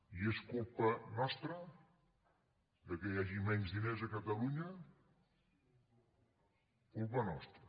i és culpa nostra que hi hagi menys diners a catalunya culpa nostra